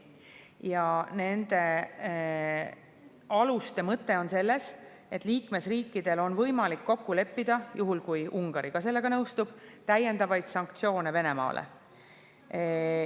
Ja nende aluste mõte on selles, et liikmesriikidel on võimalik kokku leppida – juhul kui Ungari ka sellega nõustub – täiendavaid sanktsioone Venemaale.